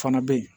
Fana bɛ yen